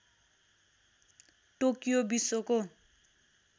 Tokyo विश्वको